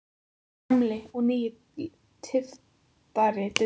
Þinn gamli og nýi tyftari, Diddi.